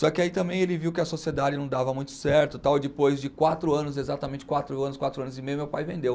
Só que aí também ele viu que a sociedade não dava muito certo e tal, e depois de quatro anos, exatamente quatro anos, quatro anos e meio, meu pai vendeu.